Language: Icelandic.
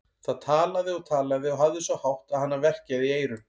Það talaði og talaði og hafði svo hátt að hana verkjaði í eyrun.